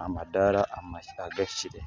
aha madaara agahikire